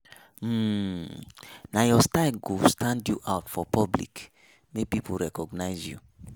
um Nah your own style go stand you out for public, make pipo recognize you